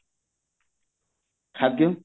ଖାଦ୍ଯ